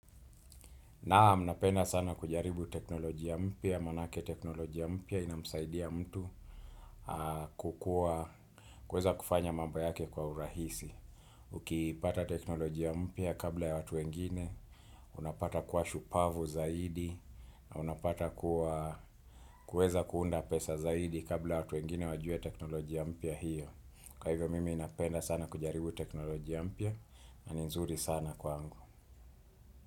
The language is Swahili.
Naam napenda sana kujaribu teknolojia mpya, maanake teknolojia mpya inamsaidia mtu kukuwa, kuweza kufanya mambo yake kwa urahisi. Ukipata teknolojia mpya kabla ya watu wengine, unapata kuwa shupavu zaidi, na unapata kuwa kuweza kuunda pesa zaidi kabla ya watu wengine wajue teknolojia mpya hiyo. Kwa hivyo mimi napenda sana kujaribu teknolojia mpya, na ni nzuri sana kwangu.